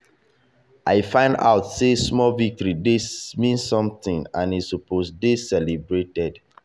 i find out sey small victory dey still mean something and e suppose dey dey celebrated.